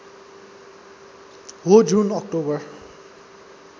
हो जुन अक्टोबर